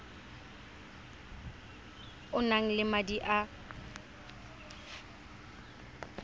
o nang le madi a